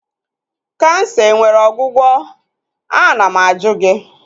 Kansa enwere ọgwụgwọ? Ana m ajụ gị?